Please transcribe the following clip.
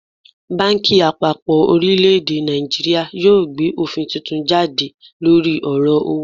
Banki apapo orileede Naijiria yoo gbe ofin tuntun jade lori oro owo